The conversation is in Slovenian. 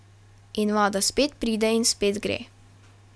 In voda spet pride in spet gre.